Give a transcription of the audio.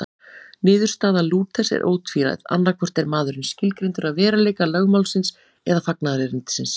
Niðurstaða Lúthers er ótvíræð, annaðhvort er maðurinn skilgreindur af veruleika lögmálsins eða fagnaðarerindisins.